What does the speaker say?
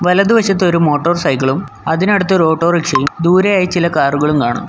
വലതു വശത്ത് ഒരു മോട്ടോർ സൈക്കിളും അതിനടുത്തൊരു ഓട്ടോറിക്ഷയും ദൂരെയായി ചില കാറുകളും കാണാം.